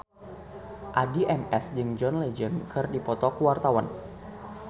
Addie MS jeung John Legend keur dipoto ku wartawan